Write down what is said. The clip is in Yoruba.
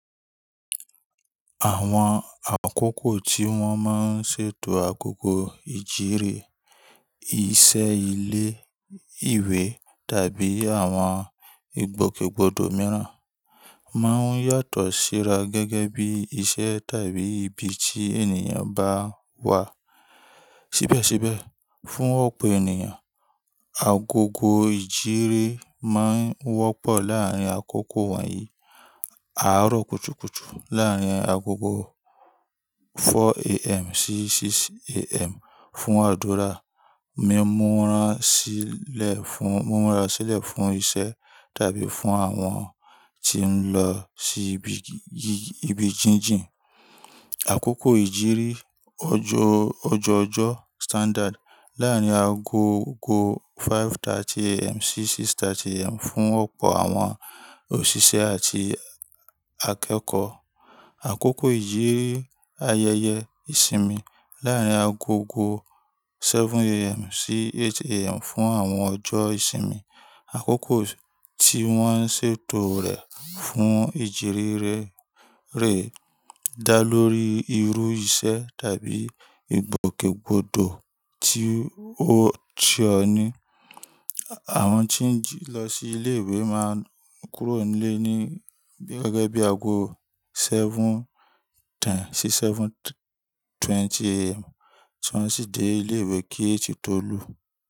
Àwọn àkókò tí wọ́n máa ń ṣètò agogo ìjírìì, iṣẹ́ ilé ìwé tàbí àwọn ìgbòkègbodò mìíràn, máa ń yàtọ̀ síra gẹ́gẹ́ bí iṣẹ́ tàbí ibi tí ènìyàn bá wà. Síbẹ̀síbẹ̀, fún ọ̀pọ̀ ènìyàn, agogo ìjírìì máa ń wọ́pọ̀ láàárín àkókò wọ̀nyí: àárọ̀ kùtùkùtù láàárín agogo 4:00 AM sí 6:00 AM fún àdúrà, mímúra sílẹ̀ fún, mímúra sílẹ̀ fún iṣẹ́ tàbí fún àwọn tí ń lọ sí ibi, ibi jíjìn. Àkókò ìjírìì ọjọ́, ọjọ́ ọjọ́ Standard láàárín agogo 5:30 AM sí 6:30 AM fún ọ̀pọ̀ àwọn òṣìṣẹ́ àti akẹ́kọ̀ọ́. Àkókò ìjírìì ayẹyẹ ìsinmi láàárín agogo 7:00 AM sí 8:00 AM fún àwọn ọjọ́ ìsinmi. Àkókò tí wọ́n ṣètò rẹ̀ fún ìjírìì rẹ́, rẹ́ dá lórí irú iṣẹ́ tàbí ìgbòkègbodò tí ó ti ọ́ ní. Àwọn tí ń lọ sí ilé ìwé máa ń kúrò nílé ní, gẹ́gẹ́ bí agogo 7:10 sí 7:20 AM, ti won si dé ilé ìwé kí èjì tó lù.